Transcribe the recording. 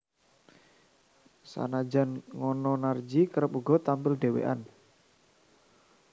Sanajan ngono Narji kerep uga tampil dhewékan